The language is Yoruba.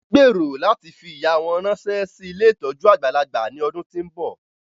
Wọ́n gbèrò láti fi ìyà wọn ránṣẹ́ sí ilé ìtọ́jú àgbàlagbà ní ọdún tí ń bọ̀